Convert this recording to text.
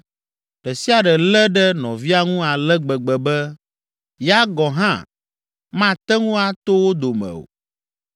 ɖe sia ɖe lé ɖe nɔvia ŋu ale gbegbe be, ya gɔ̃ hã mate ŋu ato wo dome o.